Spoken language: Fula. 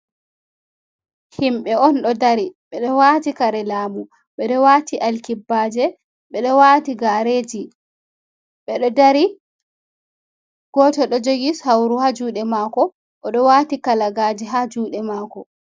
Himɓe on ɗo dari, ɓe ɗo wati kare laamu. Ɓe ɗo wati alkibbaje, ɓe ɗo wati gareji. Ɓe do dari, goto ɗo jogi sauru ha juude mako, o ɗo wati kalagaaje ha juɗe mako.